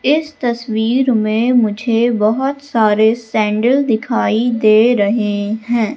इस तस्वीर में मुझे बहोत सारे सैंडल दिखाई दे रहें हैं।